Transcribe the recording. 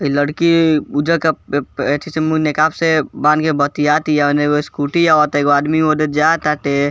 इ लड़की उजर के प एथी से मुँह नकाब से बांध के बतियातिया ओने एगो स्कूटी आवता एगो आदमी ओने जा ताटे।